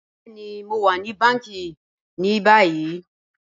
Bẹẹ̀ni, Mo wa ni bàńkí ni bàyì.